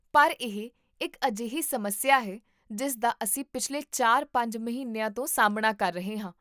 ਪਰ ਇਹ ਇੱਕ ਅਜਿਹੀ ਸਮੱਸਿਆ ਹੈ ਜਿਸ ਦਾ ਅਸੀਂ ਪਿਛਲੇ ਚਾਰ ਪੰਜ ਮਹੀਨਿਆਂ ਤੋਂ ਸਾਹਮਣਾ ਕਰ ਰਹੇ ਹਾਂ